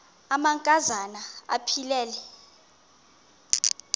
amanka zana aphilele